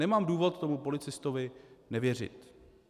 Nemám důvod tomu policistovi nevěřit.